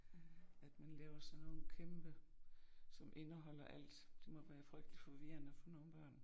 At man laver sådan nogle kæmpe som indeholder alt. Det må være frygteligt forvirrende for nogen børn